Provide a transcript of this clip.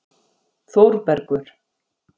Þórbergur